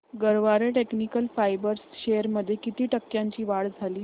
Garware technical fibres shares मध्ये किती टक्क्यांची वाढ झाली